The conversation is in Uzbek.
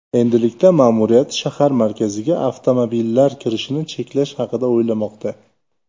Endilikda ma’muriyat shahar markaziga avtomobillar kirishini cheklash haqida o‘ylamoqda.